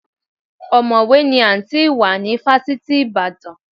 Ọ̀mọ̀wé ni Àǹtí Ìwà ní fásitì Ìbàdàn.